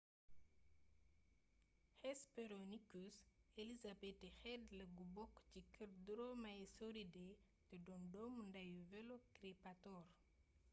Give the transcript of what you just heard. hesperonychus elizabethae xéétla gu bokk ci keer dromaeosauridae té doon doomu ndayu velociraptor